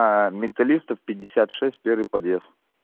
металлистов пятьдесят шесть первый подъезд